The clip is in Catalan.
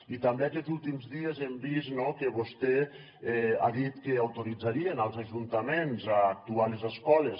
i també aquests últims dies hem vist no que vostè ha dit que autoritzaria els ajuntaments a actuar a les escoles